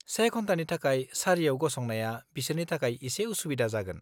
से घन्टानि थाखाय सारियाव गसंनाया बिसोरनि थाखाय एसे उसुबिदा जागोन।